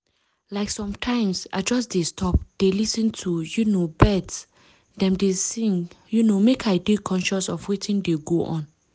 like sometimes i just dey stop dey lis ten to um bird dem dey sing um mek i dey conscious of wetin dey go on.